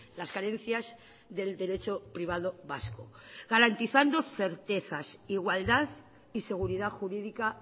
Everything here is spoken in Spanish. las carencias del derecho privado vasco garantizando certezas igualdad y seguridad jurídica